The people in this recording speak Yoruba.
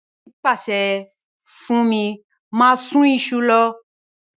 Ègbọ́n mi pàsẹ fún mí máa sun isu lo